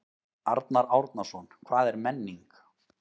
Arnar Árnason: Hvað er menning?